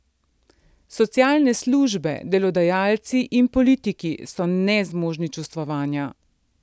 Socialne službe, delodajalci in politiki so nezmožni sočustvovanja.